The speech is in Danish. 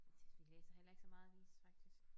Jeg tøs vi læser heller ikke så meget avis faktisk